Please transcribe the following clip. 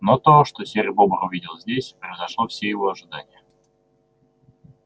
но то что серый бобр увидел здесь превзошло все его ожидания